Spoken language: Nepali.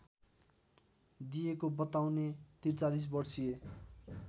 दिएको बताउने ४३ वर्षीया